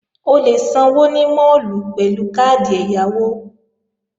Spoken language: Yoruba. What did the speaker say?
O lè sanwó ní máàlù pẹ̀lú káàdì ẹ̀yáwó